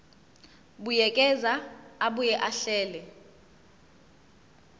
buyekeza abuye ahlele